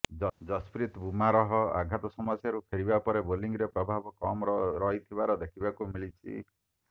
ଜସ୍ପ୍ରୀତ୍ ବୁମ୍ରାହ ଆଘାତ ସମସ୍ୟାରୁ ଫେରିବା ପରେ ବୋଲିଂରେ ପ୍ରଭାବ କମ୍ ରହିଥିବାର ଦେଖିବାକୁ ମିଳିଛି